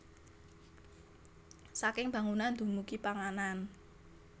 Saking bangunan dumugi panganan